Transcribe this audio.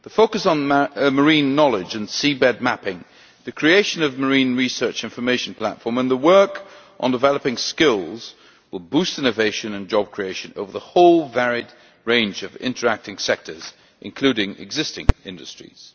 The focus on marine knowledge and seabed mapping, the creation of the marine research information platform and the work on developing skills will boost innovation and job creation over the whole varied range of interacting sectors, including existing industries.